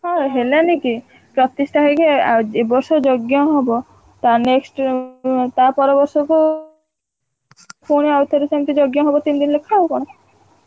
ହଁ ହେଲାନି କି ପ୍ରତିଷ୍ଠା ହେଇକି ଏ~ ଆ~ ଏ~ ବର୍ଷ ଯଜ୍ଞ ହବ। ତା next ଉଁ ଉଁ ତା ପରବର୍ଷକୁ ପୁଣି ଆଉଥରେ ସେମିତି ଯଜ୍ଞ ହବ ତିନି ଦିନି ଲେଖା ଆଉ କଣ?